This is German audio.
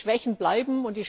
Die Schwächen bleiben.